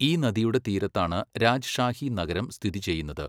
ഈ നദിയുടെ തീരത്താണ് രാജ്ഷാഹി നഗരം സ്ഥിതി ചെയ്യുന്നത്.